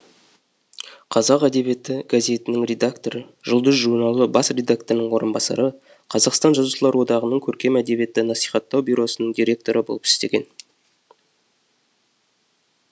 қазақ әдебиеті газетінің редакторы жұлдыз журналы бас редакторының орынбасары қазақстан жазушылар одағының көркем әдебиетті насихаттау бюросының директоры болып істеген